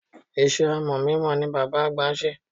Iṣẹ́ amọ̀ mímọ ni bàbá àgbà ń ṣe.